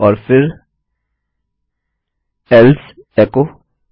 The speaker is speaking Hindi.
और फिर एल्से एचो